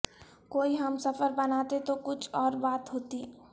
کوئی ہم سفر بناتے تو کچھ اور بات ہوتی